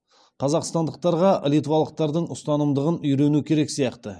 қазақстандықтарға литвалықтардың ұстамдығын үйрену керек сияқты